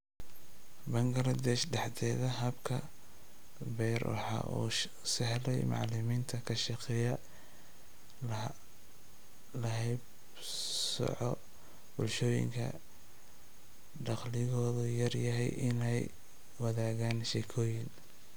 Bangaladesh dhexdeeda, habka PEER waxa uu u sahlay macalimiinta ka shaqeeya la haybsooco, bulshooyinka dakhligoodu yar yahay inay wadaagaan sheekooyin.